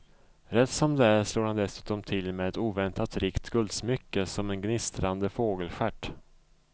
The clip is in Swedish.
Rätt som det är slår han dessutom till med ett oväntat rikt guldsmycke som en gnistrande fågelstjärt.